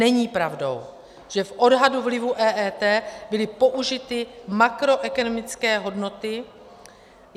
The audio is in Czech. Není pravdou, že v odhadu vlivu EET byly použity makroekonomické hodnoty.